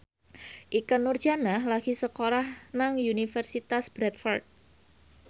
Ikke Nurjanah lagi sekolah nang Universitas Bradford